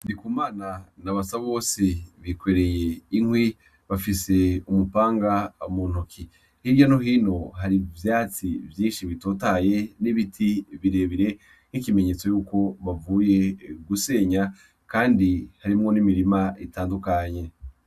Ndiku mana na abasa bose bikereye inkwi bafise umupanga amuntoki hirya nohino hari vyatsi vyinshi bitotaye n'ibiti birebire nk'ikimenyetso yuko bavuye gusenya, kandi harimwo n'imirima itandukanye.